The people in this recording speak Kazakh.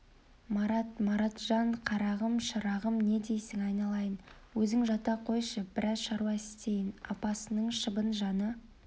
марат маратжан қарағым шырағым не дейсің айналайын өзің жата қойшы біраз шаруа істейін апасының шыбын жаны